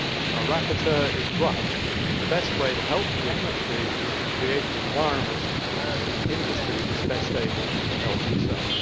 Our rapporteur is right that the best way to help the industry is to create an environment in which the industry is best able to help itself.